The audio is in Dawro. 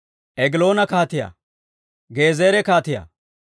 Egiloona kaatiyaa, Gezeera kaatiyaa,